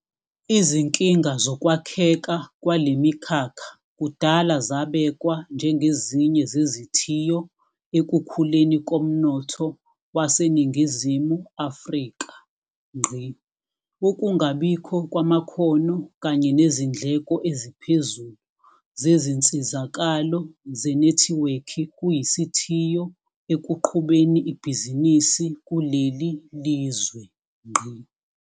Izinkinga zokwakheka kwale mikhakha kudala zabekwa njengezinye zezithiyo ekukhuleni komnotho waseNingizimu Afrika. Ukungabikho kwamakhono kanye nezindleko eziphezulu zezinsizakalo zenethiwekhi kuyisithiyo ekuqhubeni ibhizinisi kuleli lizwe.